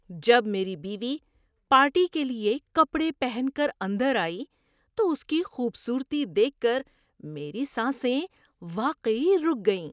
جب میری بیوی پارٹی کے لیے کپڑے پہن کر اندر آئی تو اس کی خوبصورتی دیکھ کر میری سانسیں واقعی رک گئیں۔